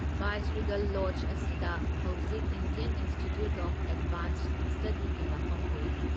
Viceregal Lodge ꯑꯁꯤꯗ ꯍꯧꯖꯤꯛ Indian Institute of Advanced ꯁ꯭ꯇꯗꯤꯒꯤ ꯃꯐꯝ ꯑꯣꯏꯔꯤ꯫